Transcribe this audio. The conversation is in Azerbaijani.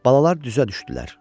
Balalar düzə düşdülər.